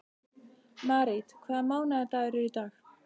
Marít, hvaða mánaðardagur er í dag?